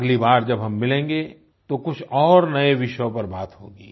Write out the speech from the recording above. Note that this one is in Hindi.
अगली बार जब हम मिलेंगे तो कुछ और नए विषयों पर बात होगी